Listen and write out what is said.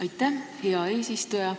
Aitäh, hea eesistuja!